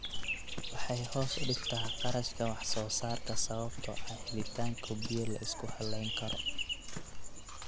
Waxay hoos u dhigtaa kharashka wax-soo-saarka sababtoo ah helitaanka biyo la isku halleyn karo.